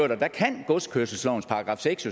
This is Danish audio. der kan godskørselslovens § seks